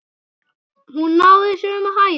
Hún náði sömu hæðum!